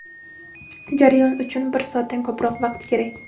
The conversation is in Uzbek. Jarayon uchun esa bir soatdan ko‘proq vaqt kerak.